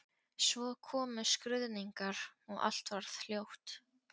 Svo komu skruðningar og allt varð hljótt.